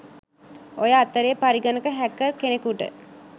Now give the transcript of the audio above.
ඔය අතරෙ පරිගණක හැකර් කෙනෙකුට